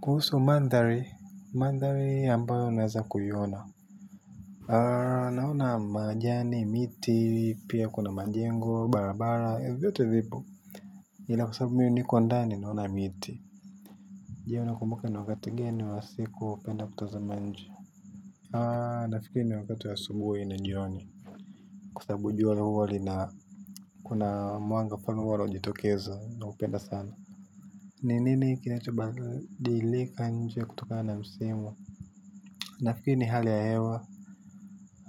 Kuhusu mandhari, mandhari ambayo unweza kuiona naona majani miti pia kuna manjengo, barabara, vyote vipo. Ila kusabu miu niko ndani naona miti. Jea unakumbuka ni wakati gani wa siku unapenda kutaza nje. Nafikiri ni wakati wa asubuhi na jioni. Kwa sababu jua huwa li na kuna mwanga fulani walo jitokeza naupenda sana. Ni nini kinachobadilika nje kutoka na msimu nafeel ni hali ya hewa